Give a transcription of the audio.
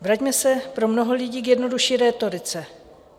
Vraťme se pro mnoho lidí k jednodušší rétorice.